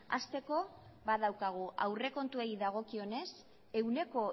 hasteko badaukagu aurrekontuei dagokionez ehuneko